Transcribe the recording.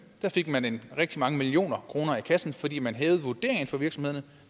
fik man rigtig mange millioner kroner i kassen fordi man hævede vurderingen for virksomhederne